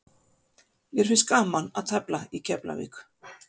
Mér finnst gaman að tefla í Keflavík.